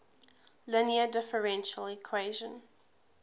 linear differential equation